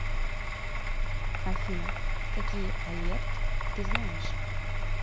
афина какие алерт ты знаешь